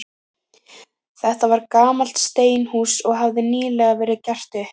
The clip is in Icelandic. Þetta var gamalt steinhús, og hafði nýlega verið gert upp.